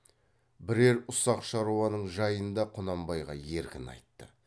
бірер ұсақ шаруаның жайын да құнанбайға еркін айтты